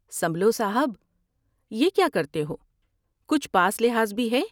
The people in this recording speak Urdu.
سنبھلو صاحب ، یہ کیا کرتے ہو ، کچھ پاس لحاظ بھی ہے ۔